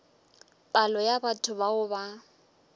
palo ya batho bao ba